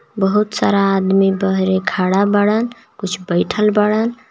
बहुत सारा आदमी बहरे खड़ा बाड़न कुछ बयीठल बाड़न।